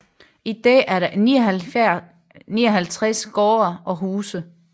I dag er der 59 gårde og huse